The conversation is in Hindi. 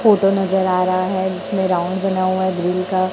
फोटो नजर आ रहा है जिसमें राउंड बना हुआ है ग्रिल का।